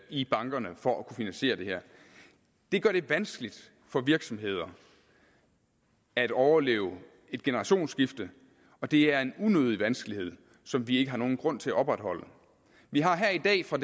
i bankerne for at kunne finansiere det her det gør det vanskeligt for virksomheder at overleve et generationsskifte og det er en unødig vanskelighed som vi ikke har nogen grund til at opretholde vi har her i dag fra